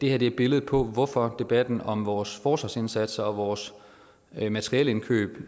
er et billede på hvorfor debatten om vores forsvarsindsatser og vores materielindkøb